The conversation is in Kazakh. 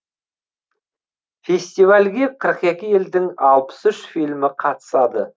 фестивальге қырық екі елдің алпыс үш фильмі қатысады